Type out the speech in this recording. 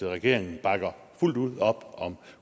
regeringen bakker fuldt ud op om